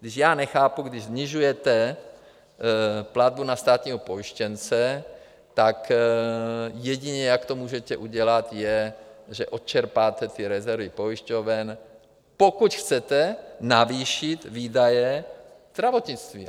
Když já nechápu, když snižujete platbu na státního pojištěnce, tak jedině, jak to můžete udělat, je, že odčerpáte ty rezervy pojišťoven, pokud chcete navýšit výdaje zdravotnictví.